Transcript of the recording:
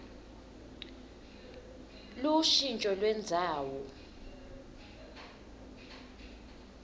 lushintjo lendzawo